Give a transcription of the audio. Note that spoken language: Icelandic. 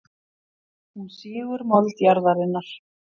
Hún sýgur mold jarðarinnar.